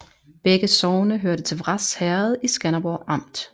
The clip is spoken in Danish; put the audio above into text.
Begge sogne hørte til Vrads Herred i Skanderborg Amt